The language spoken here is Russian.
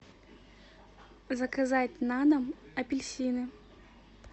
заказать на дом апельсины